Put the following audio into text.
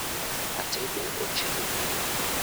atedo ochele gi ring'o